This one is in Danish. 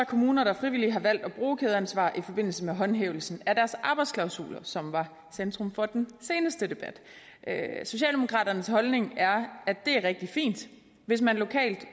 kommuner der frivilligt har valgt at bruge kædeansvar i forbindelse med håndhævelsen af deres arbejdsklausuler som var centrum for den seneste debat socialdemokraternes holdning er at det er rigtig fint hvis man lokalt